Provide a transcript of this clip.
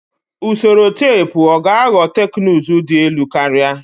Usoro teepu ọ ga-aghọ teknụzụ dị elu karịa?